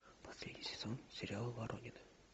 последний сезон сериала воронины